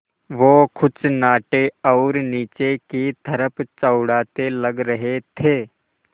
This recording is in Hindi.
वो कुछ नाटे और नीचे की तरफ़ चौड़ाते लग रहे थे